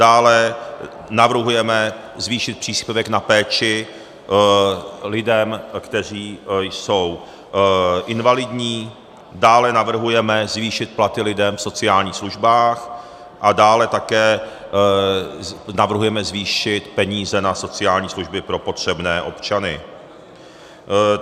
Dále navrhujeme zvýšit příspěvek na péči lidem, kteří jsou invalidní, dále navrhujeme zvýšit platy lidem v sociálních službách, a dále také navrhujeme zvýšit peníze na sociální služby pro potřebné občany.